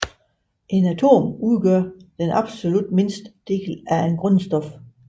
Et atom udgør den absolut mindste del af et grundstof